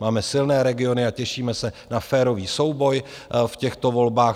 Máme silné regiony a těšíme se na férový souboj v těchto volbách.